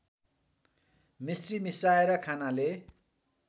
मिश्री मिसाएर खानाले